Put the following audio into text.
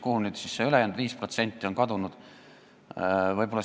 Kuhu nüüd see ülejäänud 5% on kadunud?